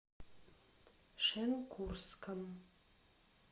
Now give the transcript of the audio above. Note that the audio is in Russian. шенкурском